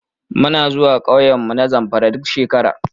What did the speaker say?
Muna zuwa ƙauyenmu na Zamfara duk shekara.